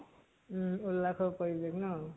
উম । উল্লাসৰ পৰিৱেশ ন ?